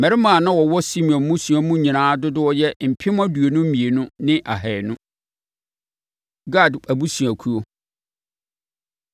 Mmarima a na wɔwɔ Simeon mmusua mu nyinaa dodoɔ yɛ mpem aduonu mmienu ne ahanu. Gad Abusuakuo